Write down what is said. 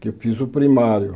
Que eu fiz o primário.